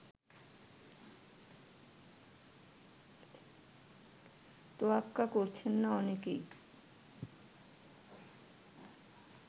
তোয়াক্কা করছেন না অনেকেই